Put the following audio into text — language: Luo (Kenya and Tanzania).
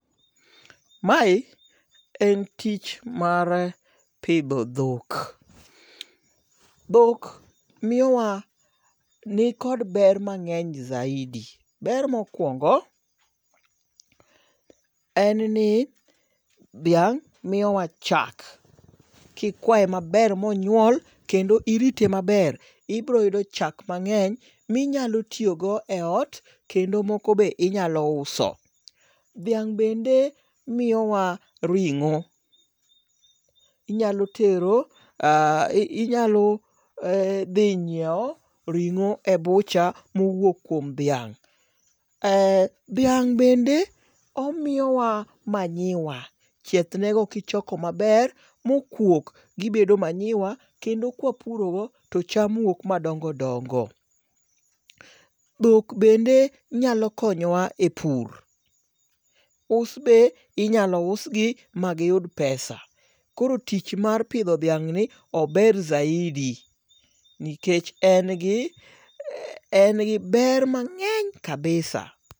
Mae en tich mar pidho dhok. Dhok miyowa nikod ber mang'eny zaidi. Ber mokwongo, en ni dhiang' miyowa chak. Kikwaye maber monyuol kendo irite maber, ibiroyudo chak mang'eny minyalo tiyogo e ot kendo moko be inyalo uso. Dhiang' bende miyowa ring'o. Inyalo tero inyalo dhi nyiew ring'o e bucha mowuok kuom dhiang'. Dhiang' bende omiyowa manyiwa. Chiethnego kichoko maber mokuok gibedo manyiwa kendo kwa puro go to cham wuok madongo dongo. Dhok bende nyalokonyowa e pur. Us be inyalo us gi ma giyud pesa. Koro tich mar pidho dhiang' ni ober zaidi nikech en gi ber mang'eny kabisa.